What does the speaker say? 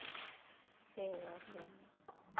சரி okay okay